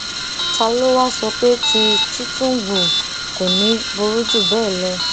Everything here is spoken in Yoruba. ta ló wáá sọ pé tí tìtúngbù kò ní í burú jù bẹẹ lọ